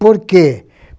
Por quê?